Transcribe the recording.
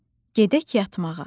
“Gedək yatmağa.”